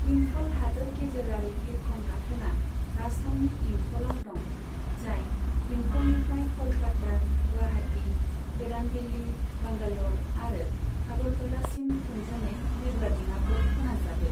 इम्फल हादोर गेजेरारि बिरखं गाथोनआ राजथावनि इम्फलाव दं, जाय इम्फलनिफ्राय क'लकाता, गुवाहाटी, गोदान दिल्ली, बांगाल'र आरो आगरतलासिम थोंजोङै बिरग्रा दिड़ाफोर फोनांजाबो।